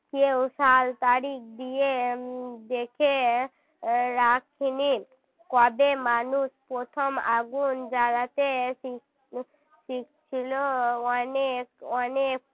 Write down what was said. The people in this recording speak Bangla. কেউ সাল তারিখ দিয়ে দেখে রাখেনি কবে মানুষ প্রথম আগুন জ্বালাতে শিখ~ শিখছিলো অনেক অনেক